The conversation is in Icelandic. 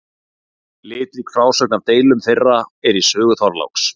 Litrík frásögn af deilum þeirra er í sögu Þorláks.